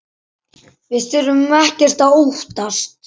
Við þurfum ekkert að óttast!